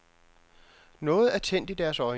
Noget er tændt i deres øjne.